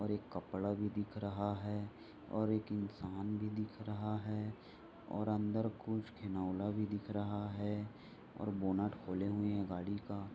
और एक कपड़ा भी दिख रहा है और एक इंसान भी दिख रहा है और अंदर कुछ खिलौना भी दिख रहा है और बोनट खोले हुए है गाड़ी का।